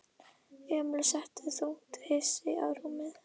Emil settist þungt hugsi á rúmið.